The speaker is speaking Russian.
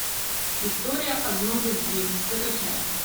история одной любви закачай